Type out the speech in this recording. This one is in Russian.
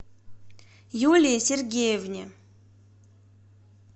юлии сергеевне